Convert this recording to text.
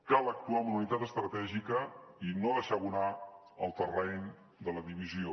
cal actuar amb una unitat estratègica i no deixar abonar el terreny de la divisió